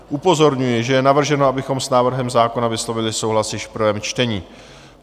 Upozorňuji, že je navrženo, abychom s návrhem zákona vyslovili souhlas již v prvém čtení.